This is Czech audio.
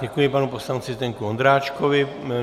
Děkuji panu poslanci Zdeňku Ondráčkovi.